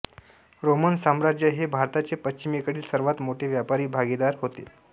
Roman साम्राज्य हे भारताचे पश्चिमेकडील सर्वांत मोठे व्यापारी भागीदार होते